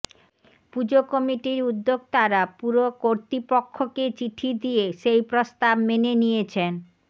পুজো কমিটির উদ্যোক্তারা পুর কর্তৃপক্ষকে চিঠি দিয়ে সেই প্রস্তাব মেনে নিয়েছেন